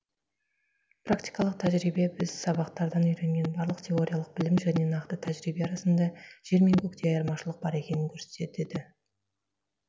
практикалық тәжірибе біз сабақтардан үйренген барлық теориялық білім және нақты тәжірибе арасында жер мен көктей айырмашылық бар екенін көрсетеді